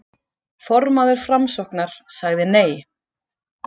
Formaður Framsóknar sagði nei